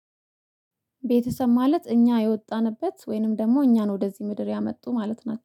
ቤተሰብ ማለት እኛ የወጣንበት ወይንም ደግሞ እኛን ወደዚህ ምድር ያመጡ ማለት ናቸው።